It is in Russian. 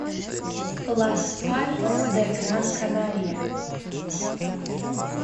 лас пальмас де гран канария